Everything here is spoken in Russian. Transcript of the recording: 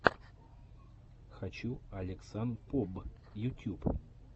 хочу алексанпоб ютьюб